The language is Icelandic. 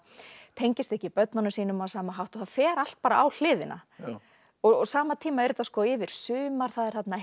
tengist ekki börnunum sínum á sama hátt og það fer allt bara á hliðina á sama tíma er þetta yfir sumar það er þarna